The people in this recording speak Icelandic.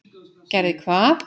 Gerði hvað?